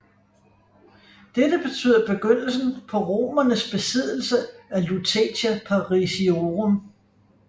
Dette betyder begyndelsen på romernes besiddelse af Lutetia Parisiorum